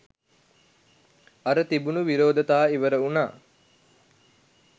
අර තිබුණු විරෝධතා ඉවර වුණා.